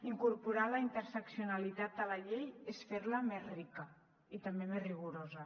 incorporar la interseccionalitat a la llei és fer la més rica i també més rigorosa